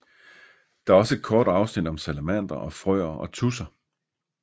Der er også et kort afsnit om salamandere og frøer og tudser